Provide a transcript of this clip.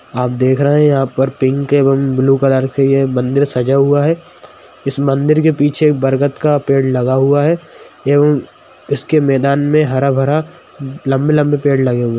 आप देख रहे हैं यहाँ पर पिंक एवं ब्लू कलर के मंदिर सजा हुआ है| इस मंदिर के पीछे एक बरगद का पेड़ लगा हुआ हैं एवं इसके मैदान में हरा-भरा लम्बे-लम्बे पेड़ लगे हुए है।